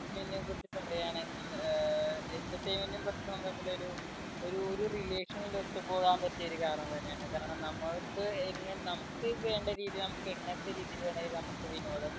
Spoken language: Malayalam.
entertainment നെ കുറിച്ച് പറയുകയാണെങ്കിൽ ഏർ entertainment ന്‍ടും ഭക്ഷണവും തമ്മിൽ ഒരു ഒരു ഒരു relation നിൽ ഒത്ത് പോകാൻ പറ്റിയൊരു കാരണം തന്നെയാണ്. കാരണം നമ്മക്ക് എങ്ങനെ നമുക്ക് വേണ്ട രീതി നമുക്ക് എങ്ങനത്തെ രിതി വേണ്ടെലും നമുക്ക് വിനോദം